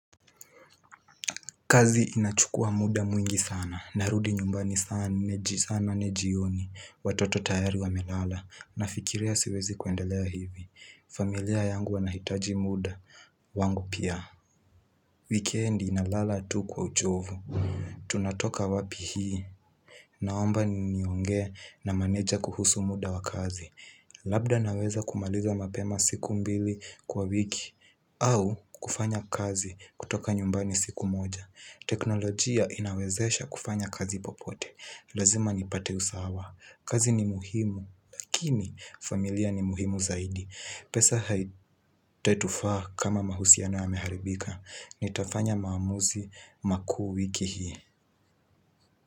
Kazi inachukua muda mwingi sana, narudi nyumbani saa nane jioni, watoto tayari wamelala, nafikiria siwezi kuendelea hivi. Familia yangu wanahitaji muda, wangu pia. Wikendi nalala tu kwa uchovu. Tunatoka wapi hii, naomba niongee na maneja kuhusu muda wa kazi. Labda naweza kumaliza mapema siku mbili kwa wiki, au kufanya kazi kutoka nyumbani siku moja. Teknolojia inawezesha kufanya kazi popote. Lazima nipate usawa. Kazi ni muhimu. Lakini familia ni muhimu zaidi. Pesa haitetufaa kama mahusiano yameharibika. Nitafanya maamuzi makuu wiki hii.